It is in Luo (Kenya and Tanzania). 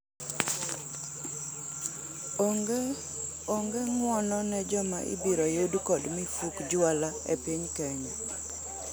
Onge ng'uono ne joma ibiro yud kod mifuk jwala epiny Kenya.